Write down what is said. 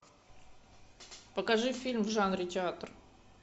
покажи фильм в жанре театр